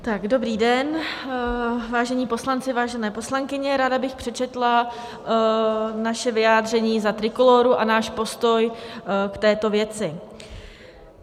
Dobrý den, vážení poslanci, vážené poslankyně, ráda bych přečetla naše vyjádření za Trikolóru a náš postoj k této věci.